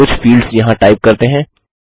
कुछ फील्ड्स यहाँ टाइप करते हैं